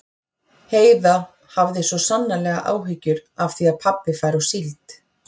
Heiða hafði svo sannarlega áhyggjur af því að pabbi færi á síld.